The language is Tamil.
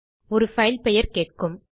ஒரு பைல் பெயர் கேட்கும்